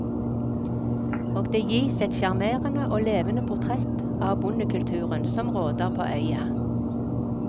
Og det gis et sjarmerende og levende portrett av bondekulturen som råder på øya.